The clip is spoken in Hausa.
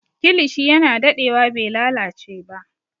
Kilishi yana dadewa bai lalace ba